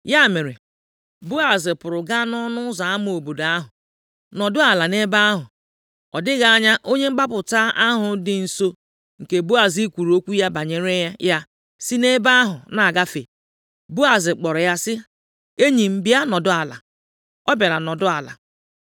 Ya mere, Boaz pụrụ gaa nʼọnụ ụzọ ama obodo ahụ, nọdụ ala nʼebe ahụ. Ọ dịghị anya onye mgbapụta ahụ dị nso nke Boaz kwuru okwu banyere ya si nʼebe ahụ na-agafe. Boaz kpọrọ ya sị, “Enyi m bịa nọdụ ala.” Ọ bịara nọdụ ala.